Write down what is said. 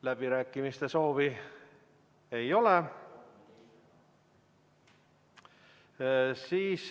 Läbirääkimiste soovi ei ole.